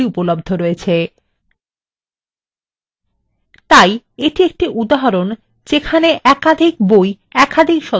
তাই এটি একটি উদাহরণ যেখানে একাধিক বই একাধিক সদস্যদের দেওয়া হচ্ছে